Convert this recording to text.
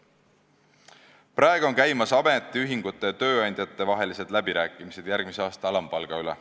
Praegu on käimas ametiühingute ja tööandjate vahelised läbirääkimised järgmise aasta alampalga üle.